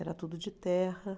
Era tudo de terra.